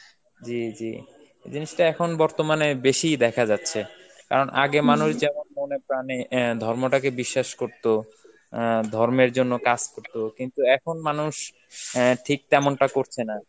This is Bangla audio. জি জি. জিনিসটা এখন বর্তমানে বেশিই দেখা যাচ্ছে, কারণ আগে overap মানুষ যেমন মনে প্রানে অ্যাঁ ধর্ম তাকে বিশ্বাস করত, অ্যাঁ ধর্মের জন্য কাজ করতো, কিন্তু এখন মানুষ অ্যাঁ ঠিক তেমনটা করছে না.